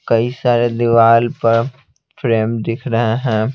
कई सारे दीवार पर फ्रेम दिख रहे हैं।